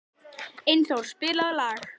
Einþór, spilaðu lag.